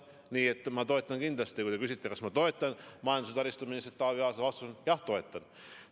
Nii et kui te küsite, kas ma toetan majandus- ja taristuministrit Taavi Aasa, siis vastus on: jah, toetan.